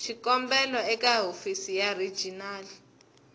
xikombelo eka hofisi ya regional